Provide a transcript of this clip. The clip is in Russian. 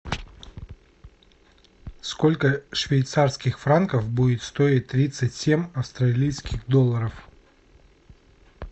сколько швейцарских франков будет стоить тридцать семь австралийских долларов